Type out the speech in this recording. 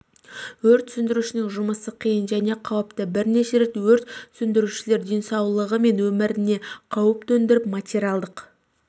өрт сөндірушінің жұмысы қиын және қауіпті бірнеше рет өрт сөндірушілер денсаулығы мен өміріне қауіп төндіріп материалдық